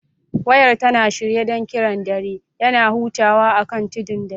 Wayar tana shirye don kiran dare; yana hutawa akan tudun dare.